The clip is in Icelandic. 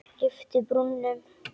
Lyfti brúnum.